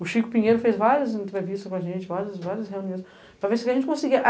O Chico Pinheiro fez várias entrevistas com a gente, várias várias reuniões, para ver se a gente conseguia.